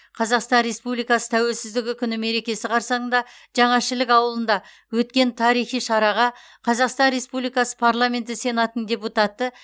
қазақстан республикасы тәуелсіздігі күні мерекесі қарсаңында жаңа шілік ауылында өткен тарихи шараға қазақстан республикасы парламенті сенатының депутаты